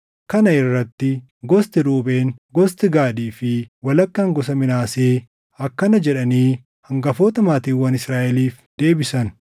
Kana irratti gosti Ruubeen, gosti Gaadii fi walakkaan gosa Minaasee akkana jedhanii hangafoota maatiiwwan Israaʼeliif deebisan;